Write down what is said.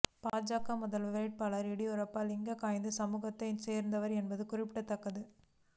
பாஜக முதல்வர் வேட்பாளர் எடியூரப்பா லிங்காயத்து சமுதாயத்தைச் சேர்ந்தவர் என்பது குறிப்பிடத் தக்கது